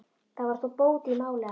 Það var þó bót í máli að